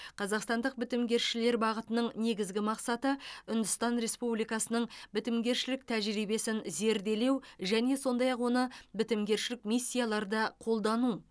қазақстандық бітімгершілер бағытының негізгі мақсаты үндістан республикасының бітімгершілік тәжірибесін зерделеу және сондай ақ оны бітімгершілік миссияларда қолдану